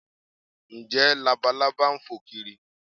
Ǹjẹ́ Labalábá ń fò kiri?